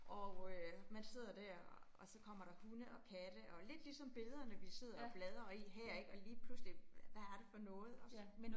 Og øh man sidder dér, og så kommer der hunde og katte, og lidt ligesom billederne, vi sidder og bladrer i her ik, og lige pludselig, hvad er det for noget også